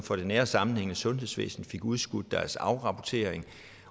for det nære og sammenhængende sundhedsvæsen fik udskudt deres afrapportering